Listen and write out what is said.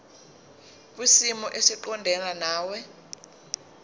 kwisimo esiqondena nawe